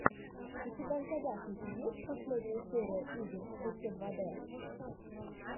у тебя в загашнике есть последняя серия игр эчедвадэ